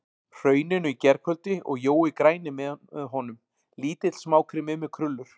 Hrauninu í gærkvöldi og Jói græni með honum, lítill smákrimmi með krullur.